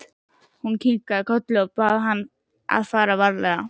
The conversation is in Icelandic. Hún kinkaði kolli og bað hann að fara varlega.